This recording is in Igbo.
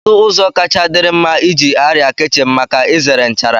kedu ụzọ kacha dịrị mma iji arịa kichin maka izere nchara?